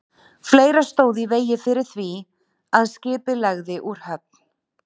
Fleira stóð í vegi fyrir því, að skipið legði úr höfn.